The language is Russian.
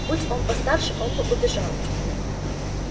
будь он постарше он бы убежал